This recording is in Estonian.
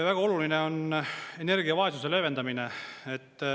Väga oluline on energiavaesuse leevendamine.